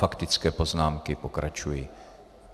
Faktické poznámky pokračují.